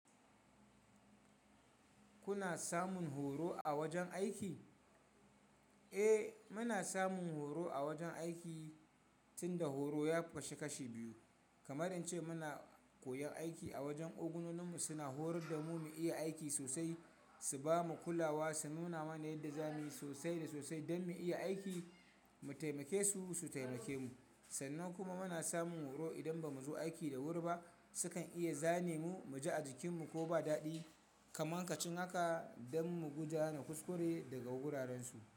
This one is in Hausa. Kuna samun horo a wajen aiki? Eh, muna samun horo a wajen aiki, tunda horo ya kasu kashi biyu. Kamar in ce muna koyon aiki a wajen. Ogunoninmu suna horar da mu mu iya aiki sosai, su bamu kulawa, su nuna mana yadda zamuyi sosai da sosai don mu iya aiki, mu taimake su, su taimake mu. Sannan kuma muna samun horo idan bamu zo aiki da wuri ba, sukan iya zane mu, mu ji a jikinmu ko ba daɗi. Kaman kacin haka don mu guje na kuskure daga wurarensu.